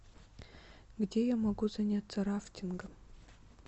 где я могу заняться рафтингом